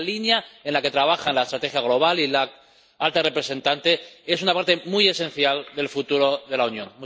Y esa línea en la que trabajan la estrategia global y la alta representante es una parte muy esencial del futuro de la Unión.